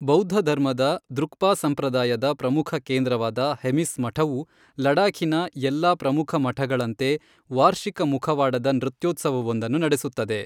ಬೌದ್ಧಧರ್ಮದ ದ್ರುಕ್ಪಾ ಸಂಪ್ರದಾಯದ ಪ್ರಮುಖ ಕೇಂದ್ರವಾದ ಹೆಮಿಸ್ ಮಠವು ಲಡಾಖಿನ ಎಲ್ಲಾ ಪ್ರಮುಖ ಮಠಗಳಂತೆ ವಾರ್ಷಿಕ ಮುಖವಾಡದ ನೃತ್ಯೋತ್ಸವವೊಂದನ್ನು ನಡೆಸುತ್ತದೆ.